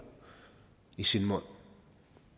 i sin mund